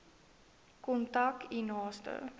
kontak u naaste